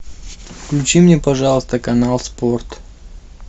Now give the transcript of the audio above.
включи мне пожалуйста канал спорт